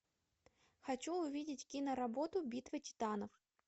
хочу увидеть киноработу битва титанов